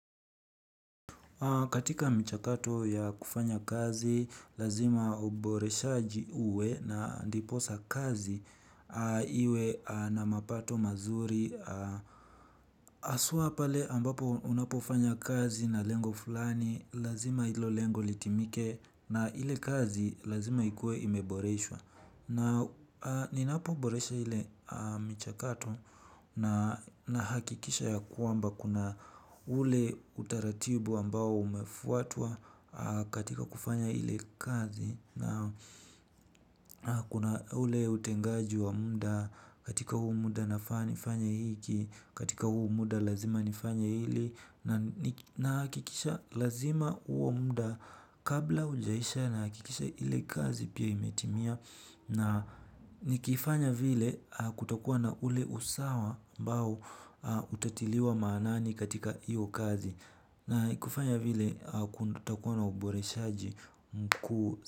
Katika mchakato ya kufanya kazi, lazima uboresha ji uwe na ndiposa kazi iwe na mapato mazuri. Haswa pale ambapo unapofanya kazi na lengo fulani, lazima hilo lengo litimike na ile kazi lazima ikue imeboreshwa. Na ninapoboresha ile michakato nahakikisha ya kwamba kuna ule utaratibu ambao umefuatwa katika kufanya ile kazi. Naam kuna ule utengaji wa muda, katika huo muda nafaa nifanye hiki, katika huo muda lazima nifanye hili, nahakikisha lazima huo muda kabla hujaisha nahakikisha ile kazi pia imetimia. Na nikifanya vile kutakuwa na ule usawa ambao utatiliwa maanani katika iyo kazi. Na ikifanya vile kutakuwa na uboreshaji mkuu.